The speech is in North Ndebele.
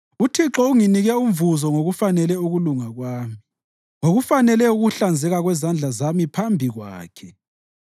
UThixo unginike umvuzo ngokufanele ukulunga kwami, ngokufanele ukuhlanzeka kwezandla zami phambi Kwakhe.